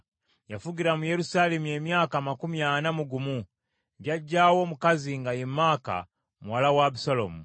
Yafugira mu Yerusaalemi emyaka amakumi ana mu gumu. Jjajjaawe omukazi nga ye Maaka muwala wa Abusaalomu.